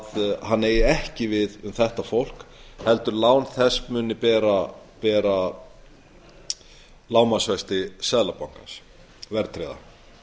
að hann eigi ekki við um þetta fólk heldur muni lán þess bera lágmarksvexti seðlabankans verðtryggðar